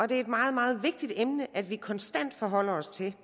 det er meget meget vigtigt at vi konstant forholder os til